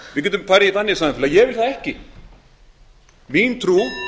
við getum farið í þannig samfélag ég vil það ekki mín trú